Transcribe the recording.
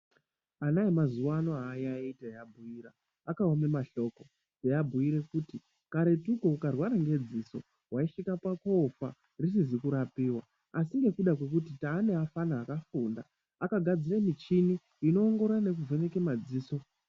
Ana emazuwa ano aayaiyi teiabhuira, akaone mahloko teiabhuire kuti karetuko ukarwara ngedziso waisvike pakofa risizi kurapiwa asi ngekuti taane afana akafunda akagadzire michini inoongorora nekuvheneke madziso.